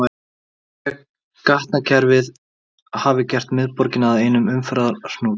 Nýja gatnakerfið hafði gert miðborgina að einum umferðarhnút.